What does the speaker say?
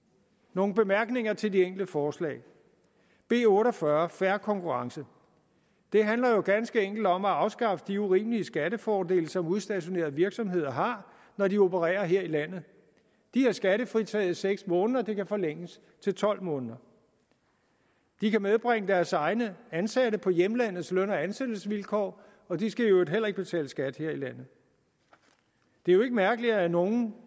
nogle bemærkninger til de enkelte forslag b otte og fyrre fair konkurrence det handler jo ganske enkelt om at afskaffe de urimelige skattefordele som udstationerede virksomheder har når de opererer her i landet de er skattefritaget i seks måneder og det kan forlænges til tolv måneder de kan medbringe deres egne ansatte på hjemlandets løn og ansættelsesvilkår og de skal i øvrigt heller ikke betale skat her i landet det er jo ikke mærkeligt at nogle